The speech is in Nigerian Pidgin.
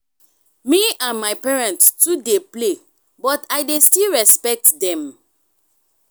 me and my parents too dey play but i dey still respect dem.